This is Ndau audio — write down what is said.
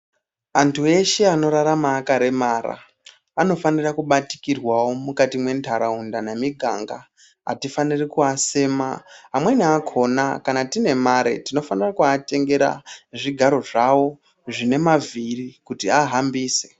Antu eshe anorarama akaremara anofanira kubatikirwawo mukati mwenharaunda nemiganga atifaniri kuasema, amweni akona kana tine mare tinofanire kuatengera zvigaro zvawo zvine mavhiri kuti ahambise.